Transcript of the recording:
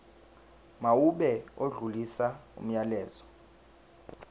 mawube odlulisa umyalezo